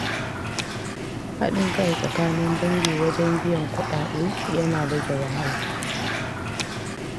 Haɗin kai tsakanin dangi wajen biyan kuɗaɗe yana rage wahala.